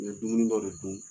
U ye dumuni dɔ de dun